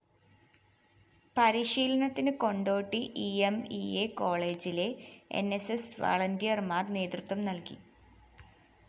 പരിശീലനത്തിന് Kondotty E M E A കോളേജിലെ N S S വളണ്ടിയര്‍മാര്‍ നേതൃത്വം നല്‍കി